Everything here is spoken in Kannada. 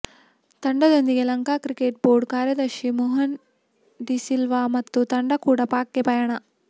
ತಂಡದೊಂದಿಗೆ ಲಂಕಾ ಕ್ರಿಕೆಟ್ ಬೋರ್ಡ್ ಕಾರ್ಯದರ್ಶಿ ಮೋಹನ್ ಡಿಸಿಲ್ವಾ ಮತ್ತು ತಂಡ ಕೂಡ ಪಾಕ್ ಗೆ ಪಯಣ